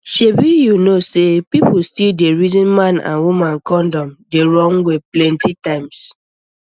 shebi you know say people still dey reason man and woman condom the wrong way plenty times